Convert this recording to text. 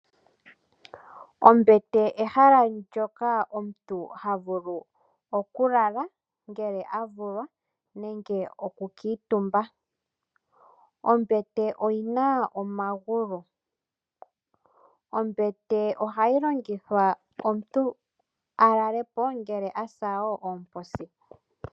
ombete ehala ndoka omuntu havulu oku lala ngele avulwa nenge oku kuutumba. Ombete oyina omagulu, ombete oha yi longithwa omuntu alalepo ngele asa woo oomposi.